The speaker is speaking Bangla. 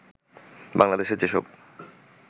বাংলাদেশ যেসব